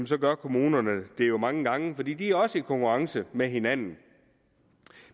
så gør kommunerne det jo mange gange fordi de også er i konkurrence med hinanden